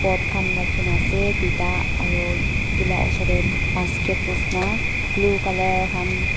boat khan rakhina ase tuita aru edu la osor tae basket nishina blue colour han.